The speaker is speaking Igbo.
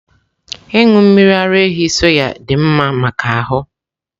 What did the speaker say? Ịṅụ mmiri ara ehi soy dị mma maka ahụ.